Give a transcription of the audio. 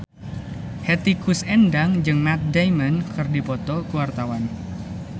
Hetty Koes Endang jeung Matt Damon keur dipoto ku wartawan